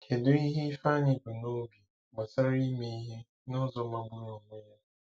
Kedu ihe Ifeanyi bu n'obi gbasara ime ihe "n'ụzọ magburu onwe ya"?